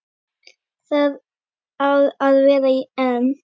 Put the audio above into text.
Það á að vera en.